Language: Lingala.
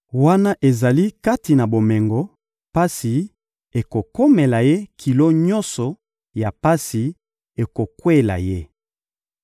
Wana azali kati na bomengo, pasi ekokomela ye, kilo nyonso ya pasi ekokweyela ye.